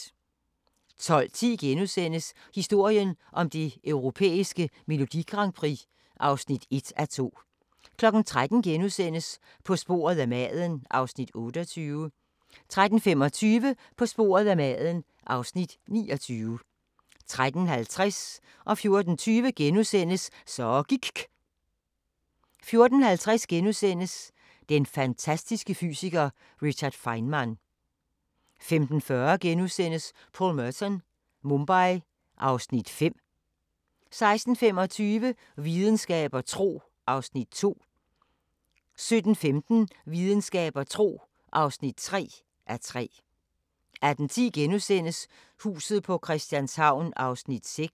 12:10: Historien om det europæiske Melodi Grand Prix (1:2)* 13:00: På sporet af maden (Afs. 28)* 13:25: På sporet af maden (Afs. 29) 13:50: Så gIKK' * 14:20: Så gIKK' * 14:50: Den fantastiske fysiker: Richard Feynman * 15:40: Paul Merton – Mumbai (Afs. 5)* 16:25: Videnskab og tro (2:3) 17:15: Videnskab og tro (3:3) 18:10: Huset på Christianshavn (6:84)*